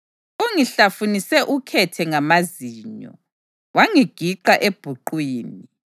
Ungihlafunise ukhethe ngamazinyo; wangigiqa ebhuqwini.